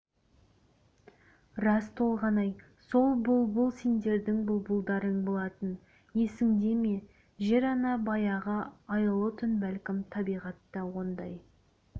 рас толғанай сол бұлбұл сендердің бұлбұлдарың болатын есіңде ме жер-ана баяғы айлы түн бәлкім табиғатта ондай